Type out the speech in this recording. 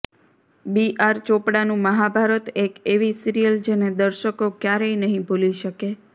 બી R ચોપડાનું મહાભારત એક એવી સીરીયલ જેને દર્શકો ક્યારેય નહી ભૂલી શકે